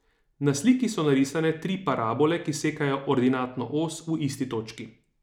Na sliki so narisane tri parabole, ki sekajo ordinatno os v isti točki.